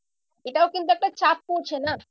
এটাও কিন্তু একটা চাপ পড়ছে না।